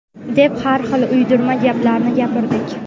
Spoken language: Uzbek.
deb har xil uydirma gaplarni gapirdik.